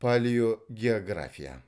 палеогеография